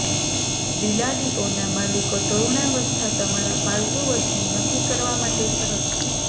બિલાડીઓ ના માલિકો તરુણાવસ્થા તમારા પાલતુ વર્ષની નક્કી કરવા માટે સરળ છે